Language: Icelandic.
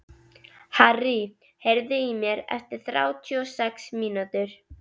Harrý, heyrðu í mér eftir þrjátíu og sex mínútur.